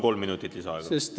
Kolm minutit lisaaega.